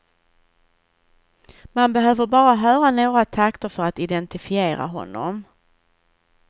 Man behöver bara höra några takter för att identifiera honom.